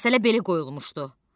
Məsələ belə qoyulmuşdu.